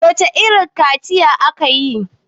wacece irin kaciya aka yi!